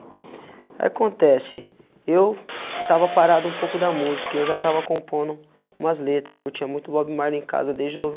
Aí acontece, eu estava parado um pouco da música, eu já estava compondo umas letras, eu curtia muito Bob Marley em casa desde